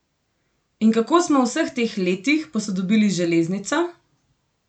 In kako smo v vseh teh letih posodobili železnico?